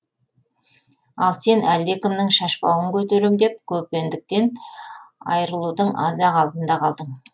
ал сен әлдекімнің шашбауын көтерем деп көпендіктен айырылудың аз ақ алдында қалдың